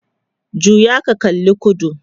juya ka kalla kudu!